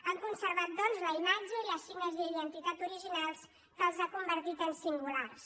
han conservat doncs la imatge i els signes d’identitat originals que els han convertit en singulars